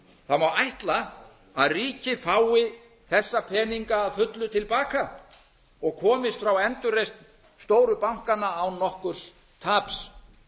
það má ætla að ríkið fái þessa peninga að fullu til baka og komist frá endurreisn stóru bankanna án nokkurs taps